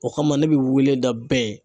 O kama ne bɛ weleda bɛɛ